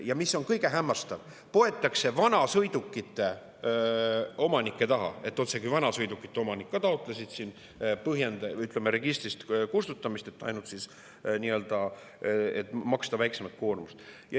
Ja mis kõige hämmastavam: poetakse vanasõidukite omanike taha, otsekui vanasõidukite omanikud ka taotlesid registrist kustutamist, et maksta väiksemat koormist.